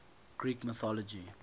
greek mythology